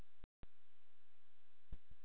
Of lengi lék barnið sér í baði